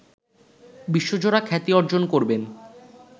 বিশ্বজোড়া খ্যাতি অর্জন করবেন